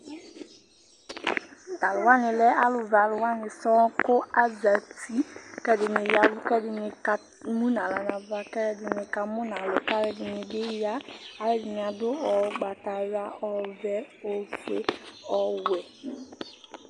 Talʋwani lɛ alʋvɛ alʋwani sɔŋ Kʋ azati kʋ ɛdini ya ɛvʋ kʋ ɛdini emʋnʋ aɣla nʋ ava kʋ ɛdini kamʋnʋ alʋ Alʋdini bi ya, alʋdini adʋ ʋgbatawla, ɔvɛ, ofue, ɔwɛ